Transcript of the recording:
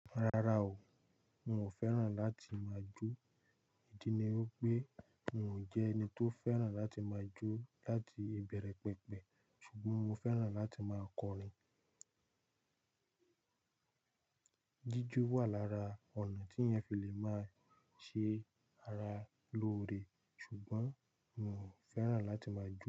Rárá o, n ò fẹ́ràn láti máa jó. Ìdí ni pé mi ò jẹ́ ẹni tó fẹ́ràn láti máa jó láti ìbẹ̀rẹ̀ pẹ̀pẹ̀ ṣùgbọ́n mo fẹ́ràn láti máa kọrin. Jíijo wà lára ọ̀nà tí ẹ̀eyan fi le máa ṣe ara lóore ṣùgbọ́n n ò fẹ́ràn láti máa jó.